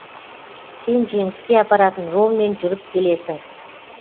сен жеңіске апаратын жолмен жүріп келесің